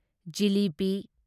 jalebi